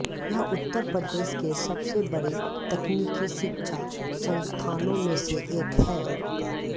यह उत्तर प्रदेश के सबसे बड़े तकनीकी शिक्षा संस्थानों में से एक है